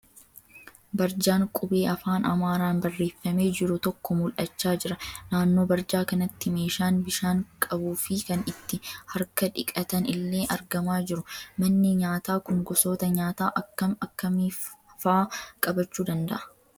Barjaan qubee afaan Amaaraan barreeffamee jiru tokko mul'achaa jira. Naannoo barjaa kanaatti meeshaan bishaan qabuu fi kan itti harka dhiqatan illee argamaa jiru. Manni nyaataa kun gosoota nyaataa akkam akkamiifaa qabaachuu danda'a?